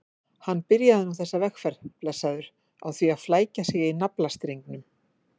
Hann byrjaði nú þessa vegferð, blessaður, á því að flækja sig í naflastrengnum.